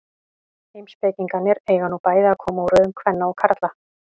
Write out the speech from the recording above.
Heimspekingarnir eiga nú bæði að koma úr röðum kvenna og karla.